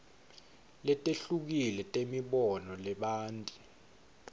letehlukile temibono lebanti